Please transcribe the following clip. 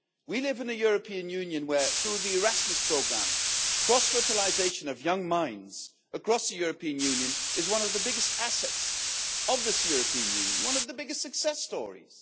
We live in a European Union where, through the Erasmus programme, the cross fertilisation of young minds across the European Union is one of the biggest assets of this European Union and one of the biggest success stories.